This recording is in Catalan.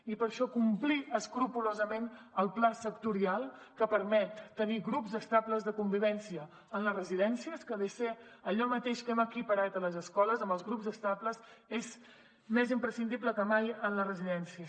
i per això complir escrupolosament el pla sectorial que permet tenir grups estables de convivència en les residències que ve a ser allò mateix que hem equiparat a les escoles amb els grups estables és més imprescindible que mai en les residències